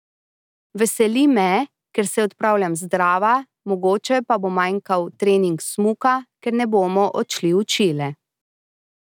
Veseli me, ker se odpravljam zdrava, mogoče pa bo manjkal trening smuka, ker ne bomo odšli v Čile.